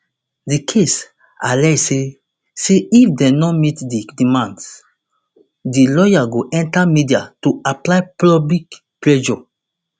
di case allege say say if dem no meet di demands di lawyer go enta media to apply public pressure